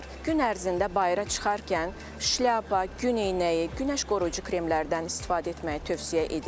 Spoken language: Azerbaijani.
Gün ərzində bayıra çıxarkən şlyapa, gün eynəyi, gün qoruyucu kremlərdən istifadə etməyi tövsiyə edirik.